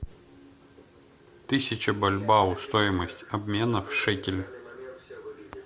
тысяча бальбоа стоимость обмена в шекели